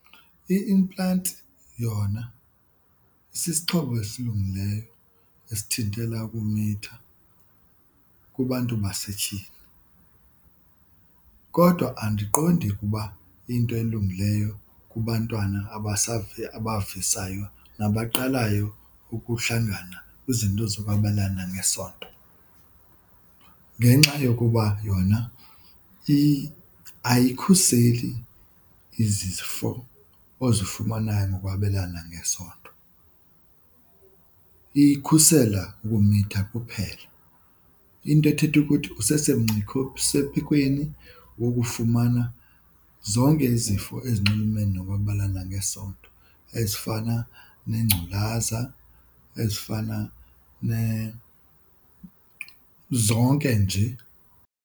I-implant yona sisixhobo esilungileyo esithintela ukumitha kubantu basetyhini kodwa andiqondi ukuba iyinto elungileyo kubantwana abavisayo nabaqalayo ukuhlangana kwizinto zokwabelana ngesondo ngenxa yokuba yona ayikukhuseli izifo ozifumanayo ngokwabelana ngesondo, ikhusela ukumitha kuphela. Into ethetha ukuthi wokufumana zonke izifo ezinxulumene nokwabelana ngesondo ezifana nengculaza, ezifana , zonke nje.